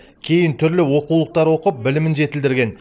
кейін түрлі оқулықтар оқып білімін жетілдірген